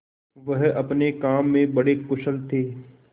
वह अपने काम में बड़े कुशल थे